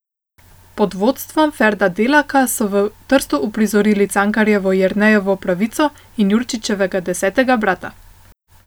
Pod vodstvom Ferda Delaka so v Trstu uprizorili Cankarjevo Jernejevo pravico in Jurčičevega Desetega brata.